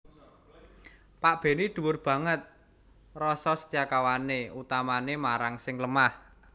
Pak Benny dhuwur banget rasa setiakawané utamané marang sing lemah